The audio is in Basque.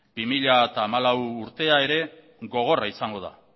bi mila hamalau urtea ere gogorra izango da